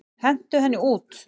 Hentu henni út!